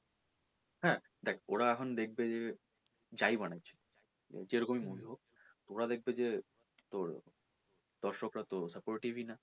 দেখ হ্যাঁ দেখ ওরা এখন দেখবে যে যাই বানাচ্ছি যেরকম ই মনে হোক তো ওরা দেখবে যে তোর দর্শক রা তোর supportive ই না